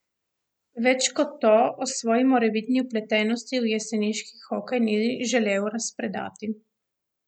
Več kot to o svoji morebitni vpletenosti v jeseniški hokej ni želel razpredati.